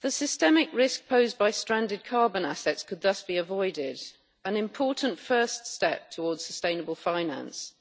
The systemic risk posed by stranded carbon assets could thus be avoided, an important first step towards sustainable finance,